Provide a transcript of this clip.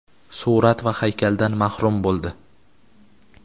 surat va haykaldan mahrum bo‘ldi.